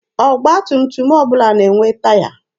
Ọgba tum tum ọbụla na-enwe taya.